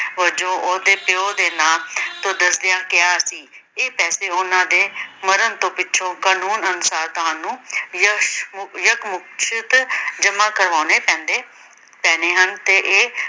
ਵਜੋਂ ਉਹਦੇ ਪਿਉ ਨਾਂ ਖੁਦਰਦਿਆ ਕਿਹਾ ਸੀ ਕਿ ਇਹ ਪੈਸੇ ਉਹਨਾ ਦੇ ਮਾਰਨ ਤੋਂ ਪਿੱਛੋਂ ਕਾਨੂੰਨ ਅਨੁਸਾਰ ਤੁਹਾਨੂੰ ਤੁਹਾਨੂੰ ਜਮ੍ਹਾ ਕਰਵਾਣੇ ਪੈਂਦੇ ਪੈਣੇ ਹਨ